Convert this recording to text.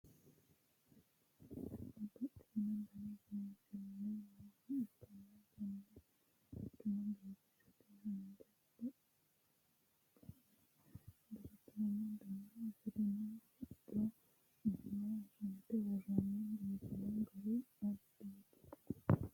babbaxino dani seensilli nooha ikkanna konne quchuma biifisate haanja, baqalanna duumo dana afirino hocco iima sunte woroonihu biifanno gari addiiti.